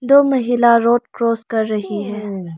दो महिला road cross कर रही हैं।